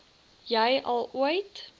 jy al ooit